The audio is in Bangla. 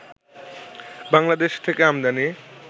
বাংলাদেশে থেকে আমদানি